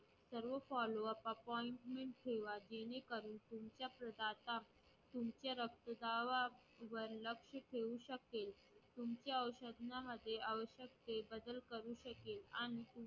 सर्व follow-up appointment ठेवा जेणेकरून तुमच्या प्रदाता तुमच्या रक्तदाबावर लक्ष ठेवू शकेल. तुमच्या औषधामध्ये आवश्यक ते बदल करू शकेल आणि